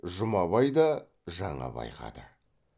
жұмабай да жаңа байқады